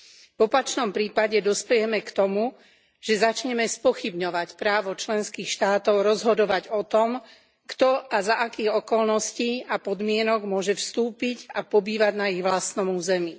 V opačnom prípade dospejeme k tomu, že začneme spochybňovať právo členských štátov rozhodovať o tom, kto a za akých okolností a podmienok môže vstúpiť a pobývať na ich vlastnom území.